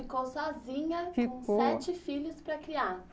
E ela ficou sozinha, ficou, com sete filhos para criar?